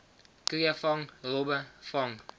kreefvang robbe vang